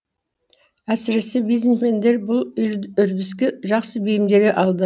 әсіресе бизнесмендер бұл үрдіске жақсы бейімделе алды